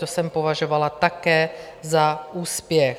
To jsem považovala také za úspěch.